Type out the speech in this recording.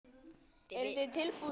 Eru þið tilbúnir í það?